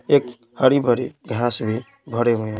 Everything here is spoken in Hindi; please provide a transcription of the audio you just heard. एक हरी भरी घास भी भरे हुए है।